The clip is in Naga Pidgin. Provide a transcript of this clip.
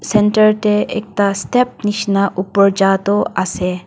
center tae ekta step nishina upor ja toh ase.